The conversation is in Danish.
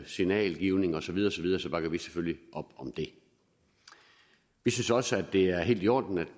signalgivning osv bakker vi selvfølgelig op om det vi synes også det er helt i orden at